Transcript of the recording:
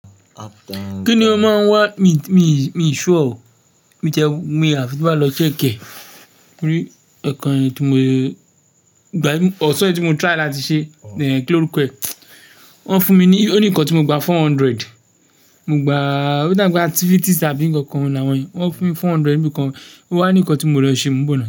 Kí ni ọ́ máa ń wá? Mi, mi, mi sure o. Mi ti ẹ́, mi áfii ti n ba lọ check e. Ní ẹ̀ẹ̀kan tí mò ye ìgbà mi ọ̀sán yi tí mo try láti ṣe, kí lórúko e. Wọ́n fún mi ní, ó ní nǹkan tí mo gba four hundred. Mo gba, oda pe activities àbí ǹkan kan làwọn yen. Wọ́n fún mi four hundred níbi kan. Ó wá ní nǹkan tí mo lọ ṣe mó nbò na.